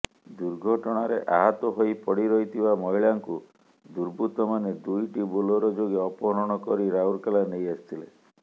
ଦୁର୍ଘଟଣାରେ ଆହତ ହୋଇ ପଡିରହିଥିବା ମହିଳାଙ୍କୁ ଦୁର୍ବୃତ୍ତମାନେ ଦୁଇଟି ବୋଲେରୋ ଯୋଗେ ଅପହରଣ କରି ରାଉରକେଲା ନେଇ ଆସିଥିଲେ